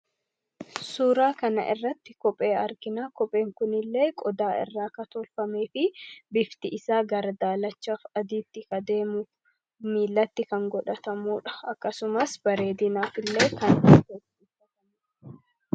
suuraa kana irratti kophee arginaa kopheen kunillee qodaa irraa kan tolfamee fi bifti isaa gara daalachaaf adiitti kan deemuu miilatti kan godhatamudha. akkasumas bareedinaaf illee kan ta, udha